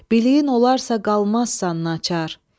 Biliyin olarsa qalmazsan nakar.